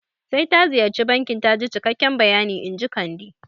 Sai ta ziyarci bankin taji cikakke bayani inji Kande